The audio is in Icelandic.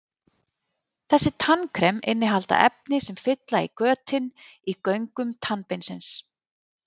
Þessi tannkrem innihalda efni sem fylla í götin í göngum tannbeinsins.